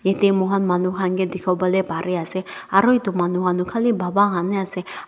te mohan manu khan kae dikhiwolae parease aro edu manu khan toh khali baba khan he ase.